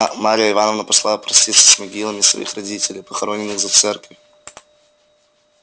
а марья ивановна пошла проститься с могилами своих родителей похороненных за церковью